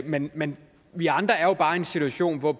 men men vi andre er jo bare i en situation hvor